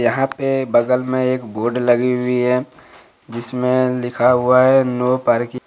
यहां पे बगल में एक बोर्ड लगी हुई है जिसमे लिखा हुआ है नो पार्किंग ।